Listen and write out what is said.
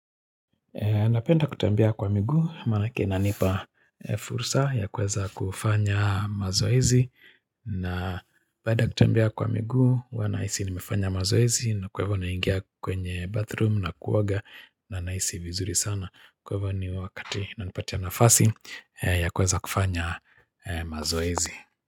Napenda kutembea kwa miguu manake inanipa fursa ya kuweza kufanya mazoezi napenda kutembea kwa miguu wa nahisi nimefanya mazoezi na kwa hivo na ingia kwenye bathroom na kuoga na nahisi vizuri sana kwa hivo ni wakati inanipatia nafasi ya kuweza kufanya mazoezi.